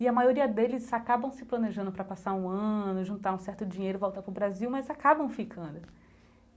E a maioria deles acabam se planejando para passar um ano, juntar um certo dinheiro, voltar para o Brasil, mas acabam ficando.